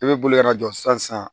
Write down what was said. I bɛ bolo ka na jɔ sisan